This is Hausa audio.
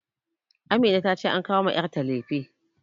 Amina ta ce an kawo ma yarta lefe